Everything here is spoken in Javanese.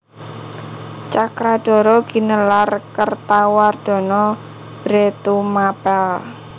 Cakradhara ginelar Kertawardhana Bhre Tumapèl